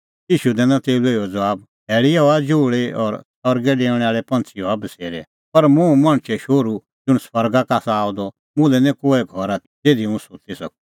ईशू दैनअ तेऊ लै इहअ ज़बाब शैल़ीए हआ जुहल़ी और सरगै डैऊंदै पंछ़ीए हआ बसेरै पर हुंह मणछो शोहरू ज़ुंण स्वर्गा का आसा आअ द मुल्है निं कोऐ घर आथी ज़िधी हुंह सुत्ती सकूं